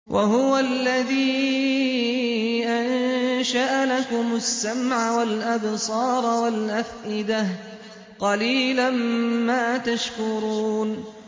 وَهُوَ الَّذِي أَنشَأَ لَكُمُ السَّمْعَ وَالْأَبْصَارَ وَالْأَفْئِدَةَ ۚ قَلِيلًا مَّا تَشْكُرُونَ